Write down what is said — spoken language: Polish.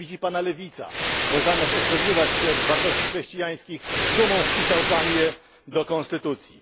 Nienawidzi Pana lewica, bo zamiast odżegnywać się od wartości chrześcijańskich, z dumą wpisał Pan je do konstytucji.